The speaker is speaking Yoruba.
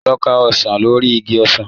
Lọ ka ọsàn lórí igi ọsàn.